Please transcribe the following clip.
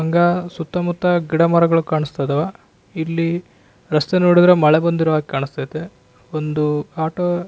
ಹಂಗ ಸುತ್ತ ಮುತ್ತ ಗಿಡ ಮರಗಳು ಕಾಣಿಸ್ತಾ ಇದ್ದವ ಇಲ್ಲಿ ರಸ್ತೆ ನೋಡಿದ್ರೆ ಮಳೆ ಬಂದಿರುವ ಕಾಣಿಸ್ತಾ ಐತೆ ಒಂದು ಆಟೋ --